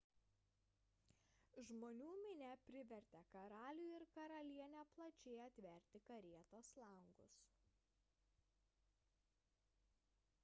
žmonių minia privertė karalių ir karalienę plačiai atverti karietos langus